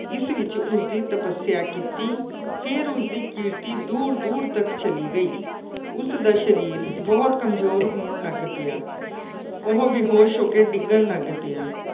ਜਿਸ ਵਿੱਚ ਉਸਦੀ ਤਪੱਸਿਆ ਕੀਤੀ। ਫਿਰ ਉਸਦੀ ਕੀਰਤੀ ਦੂਰ ਦੂਰ ਤੱਕ ਚਲੀ ਗਈ। ਉਸਦਾ ਸਰੀਰ ਬਹੁਤ ਕਮਜ਼ੋਰ ਹੋਣ ਲੱਗ ਪਿਆ। ਉਹ ਬੇਹੋਸ਼ ਹੋ ਕੇ ਡਿੱਗਣ ਲੱਗ ਪਿਆ।